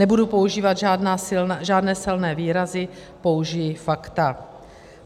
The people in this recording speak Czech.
Nebudu používat žádné silné výrazy, použiji fakta.